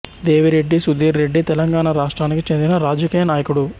దేవిరెడ్డి సుధీర్ రెడ్డి తెలంగాణ రాష్ట్రానికి చెందిన రాజకీయ నాయకుడు